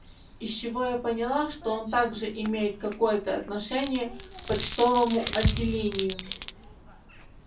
из чего я поняла что он также имеет какое-то отношение почтовому отделению